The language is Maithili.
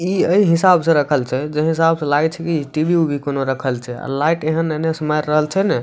ई ए हिसाब से रखल छै जे हिसाब से लागे छै कि टी.वी उभी कोनो रखल छै अ लाइट एहन ने इने से मार रहल छै नै |